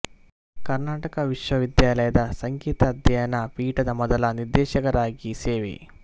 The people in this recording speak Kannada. ಕರ್ನಾಟಕ ವಿಶ್ವವಿದ್ಯಾಲಯದ ಸಂಗೀತ ಅಧ್ಯಯನ ಪೀಠದ ಮೊದಲ ನಿರ್ದೇಶಕರಾಗಿ ಸೇವೆ